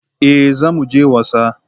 Eh za mu je wasa.